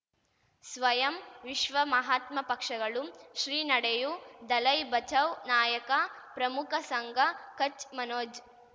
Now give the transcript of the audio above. ಸ್ವಯಂ ವಿಶ್ವ ಮಹಾತ್ಮ ಪಕ್ಷಗಳು ಶ್ರೀ ನಡೆಯೂ ದಲೈ ಬಚೌ ನಾಯಕ ಪ್ರಮುಖ ಸಂಘ ಕಚ್ ಮನೋಜ್